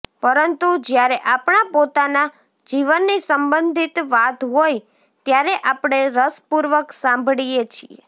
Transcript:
પરંતુ જયારે આપણા પોતાના જીવનની સંબંધિત વાત હોય ત્યારે આપણે રસપૂર્વક સાંભળીએ છીએ